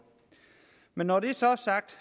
men når det så er sagt